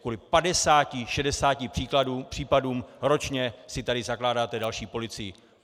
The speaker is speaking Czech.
Kvůli 50 - 60 případům ročně si tady zakládáte další policii.